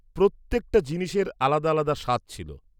-প্রত্যেকটা জিনিসের আলাদা আলাদা স্বাদ ছিল।